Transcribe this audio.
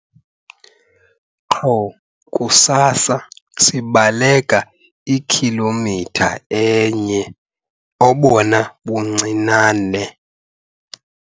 Qho kusasa sibaleka ikhilomitha enye obona buncinane.